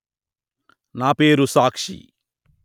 నా పేరు సాక్షి